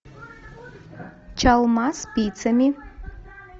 чалма спицами